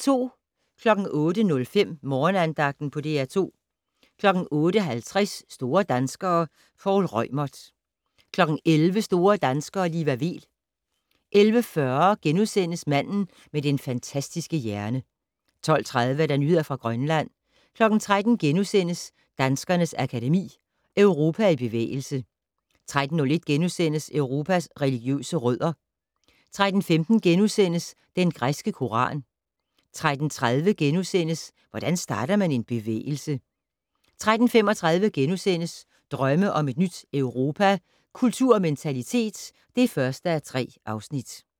08:05: Morgenandagten på DR2 08:50: Store danskere - Poul Reumert 11:00: Store danskere - Liva Weel 11:40: Manden med den fantastiske hjerne * 12:30: Nyheder fra Grønland 13:00: Danskernes Akademi: Europa i bevægelse * 13:01: Europas religiøse rødder * 13:15: Den græske koran * 13:30: Hvordan starter man en bevægelse? * 13:35: Drømme om et nyt Europa - Kultur og mentalitet (1:3)*